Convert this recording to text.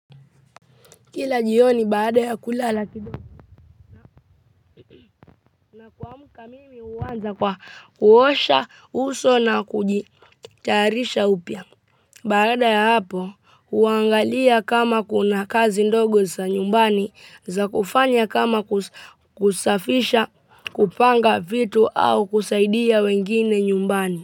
Kila jioni baada ya kulala kidogo na kuamka mimi huanza kwa kuosha uso na kujitayarisha upya. Baada ya hapo huangalia kama kuna kazi ndogo za nyumbani za kufanya kama kusafisha kupanga vitu au kusaidia wengine nyumbani.